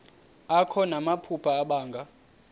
akho namaphupha abanga